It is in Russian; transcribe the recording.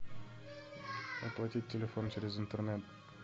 оплатить телефон через интернет